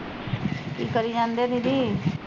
ਕੀ ਕਰੀ ਜਾਂਦੇ ਦੀਦੀ